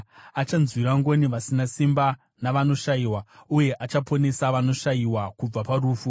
Achanzwira ngoni vasina simba navanoshayiwa, uye achaponesa vanoshayiwa kubva parufu.